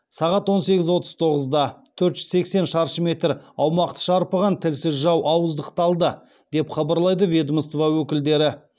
сағат он сегіз отыз тоғызда төрт жүз сексен шаршы метр аумақты шарпыған тілсіз жау ауыздықталды деп хабарлайды ведомство өкілдері